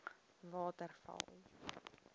waterval